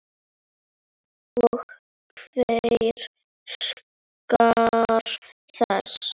Og hver óskar þess?